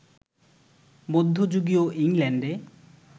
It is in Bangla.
মধ্যযুগীয় ইংল্যান্ডে